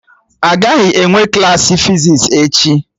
Agaghị enwe Klassị fizis echi